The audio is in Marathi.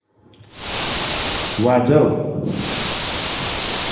वाजव